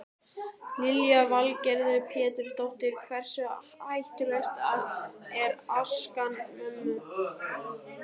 Lillý Valgerður Pétursdóttir: Hversu hættuleg er askan mönnum?